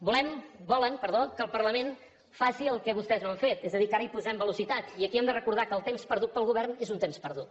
volen que el parlament faci el que vostès no han fet és a dir que ara hi posem velocitat i aquí hem de recordar que el temps perdut pel govern és un temps perdut